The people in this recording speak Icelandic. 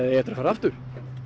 eigið eftir að fara aftur